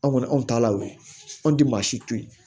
Anw kɔni anw ta la o ye anw tɛ maa si to yen